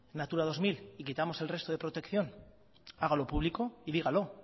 natura dos mil y quitamos el resto de protección hágalo público y dígalo